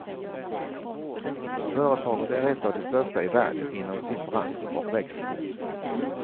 Företaget är ett av de största i världen inom sin bransch och växer fort.